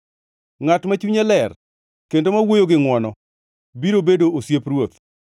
Ngʼat ma chunye ler kendo ma wuoyo gi ngʼwono biro bedo osiep ruoth.